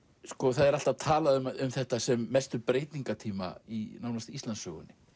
það er alltaf talað um þetta sem mestu breytingatíma í nánast Íslandssögunni